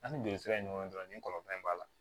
An ni jeli sira in ɲɔgɔn dɔrɔn ni kɔlɔlɔ in b'a la